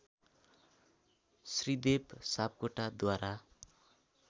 Shridev सापकोटाद्वारा